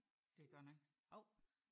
Det er godt nok